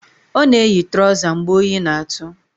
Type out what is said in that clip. Ọ na-eyi trọza mgbe oyi na-atụ